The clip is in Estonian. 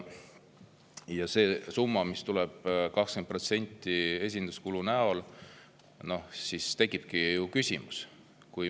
Ja selle summa, 20% kohta, mis tuleb esinduskulu näol, tekibki siis küsimus.